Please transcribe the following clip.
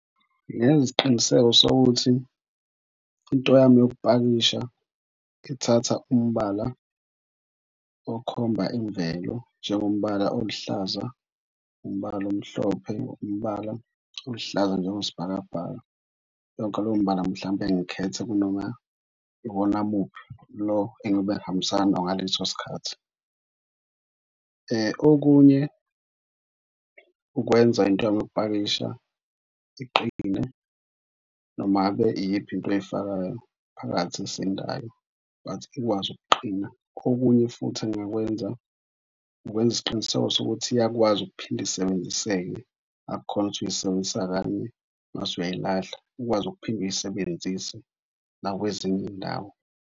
Ngingenza isiqiniseko sokuthi into yami yokupakisha ithatha umbala okhomba imvelo njengombala oluhlaza, umbala omhlophe, umbala oluhlaza njengosibhakabhaka yonke leyo mibala. Mhlampe ngikhethe kunoma iwona muphi lo engiyobe ngihambisana nawo ngaleso sikhathi. Okunye ukwenza into yami yokupakisha iqinile noma ngabe iyiphi into oyifakayo phakathi esindayo but ikwazi ukuqina. Okunye futhi engingakwenza ukwenza isiqiniseko sokuthi iyakwazi ukuphinde isebenziseke, akukhona ukuthi uyisebenzisa kanye mase uyayilahla. Ikwazi ukuphinde uyisebenzise nakwezinye iy'ndawo.